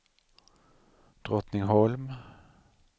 Drottningholm